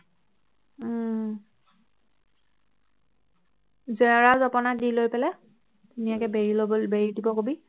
উহ জেউৰা জপনা দি লৈ পেলাই ধুনীয়াকৈ বেৰি লব বেৰি দিবলৈ কবি